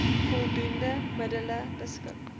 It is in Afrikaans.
voldoende middele beskik